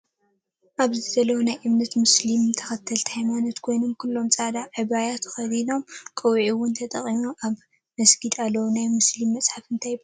ኣብዚ ዘለው ናይ እምነት ሞስሊም ተከተልቲ ሃይማኖት ኮይኖም ኩሎም ፃዕዳ ዓብያ ተከዲኖም ቆቢዕ እውን ተጠቂሞም ኣብ መድጊድ ኣለው። ናይ መስሊም መፅሓፍ እንታይ ይበሃል?